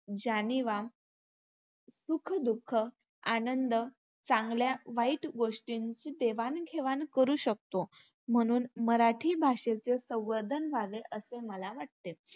जाणिवा, सुखं- दुःखं, आनंद, चांगल्या-वाईट गोष्टींची देवाणघेवाण करू शकतो. म्हणून मराठी भाषेचे संवर्धन व्हावे असे मला वाटते.